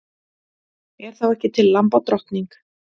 Er þá ekki til lambadrottning?